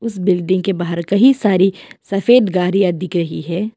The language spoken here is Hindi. इस बिल्डिंग के बाहर कहि सारी सफेद गाड़िया दिख रही है।